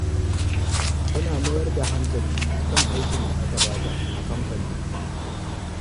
Tana mayar da hankali kan aikin da aka ba ta a kamfanin.